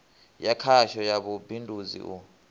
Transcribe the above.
ya khasho ya vhubindudzi u